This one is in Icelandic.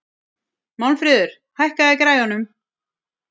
Málmfríður, hækkaðu í græjunum.